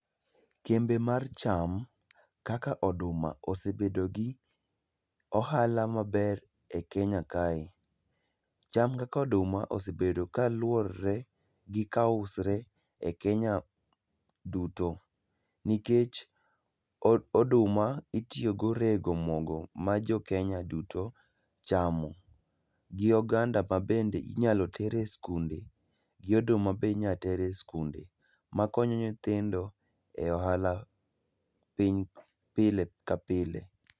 Kembe mar cham, kaka oduma osebedo gi ohala maber e Kenya kae, cham kaka oduma osebedo ka luore gi kausre e Kenya duto, nikech oduma itiyogo rego mogo ma jo Kenya duto chamo, gi oganda ma bende inyalo tere skunde gi oduma be inyalo tere skunde ma konyo nyithindo e ohala pile ka pile.